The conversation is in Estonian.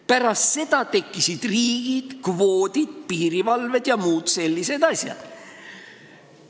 Pärast seda on tekkinud riigid, kvoodid, piirivalved ja muud sellised asjad.